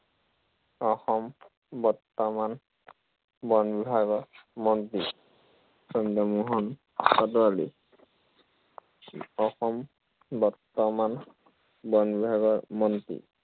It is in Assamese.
অসম, বৰ্তমান বন বিভাগৰ মন্ত্ৰী চন্দ্ৰমোহন পাটোৱাৰী। অসম বৰ্তমান, বন বিভাগৰ মন্ত্ৰী